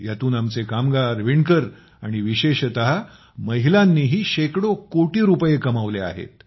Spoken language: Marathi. ह्यातून आमचे कामगार विणकर आणि विशेषतः महिलांनीही शेकडो कोटी रुपये कमावले आहेत